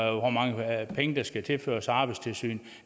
hvor mange penge der skal tilføres arbejdstilsynet